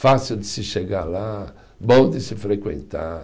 Fácil de se chegar lá, bom de se frequentar.